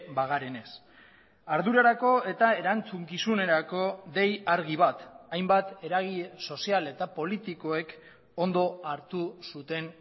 bagarenez ardurarako eta erantzukizunerako dei argi bat hainbat eragile sozial eta politikoek ondo hartu zuten